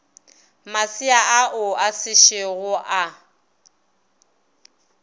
masea ao a sešogo a